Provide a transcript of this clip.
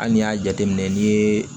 Hali n'i y'a jateminɛ n'i ye